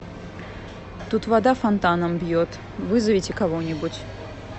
тут вода фонтаном бьет вызовите кого нибудь